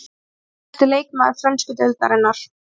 Markahæsti leikmaður frönsku deildarinnar.